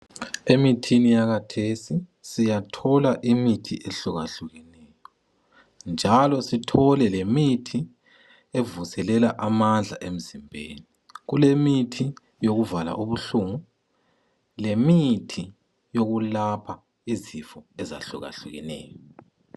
Emithini yakhathesi siyathola imithi ehlukahlukeneyo, njalo sithole lemithi evuselela amandla emzimbeni. Kulemithi yokuvala ubuhlungu lemithi ekulapha izifo ezahlukahlukeneyo.